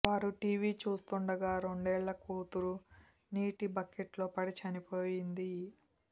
వారు టీవీ చూస్తుండగా రెండేళ్ల కూతురు నీటి బకెట్లో పడి చనిపోయింది